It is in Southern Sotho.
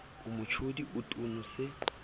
o motjodi o tono se